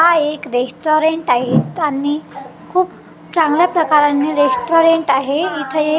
हा एक रेस्टॉरंट आहे आणि खूप चांगल्या प्रकाराने रेस्टॉरंट आहे इथं एक --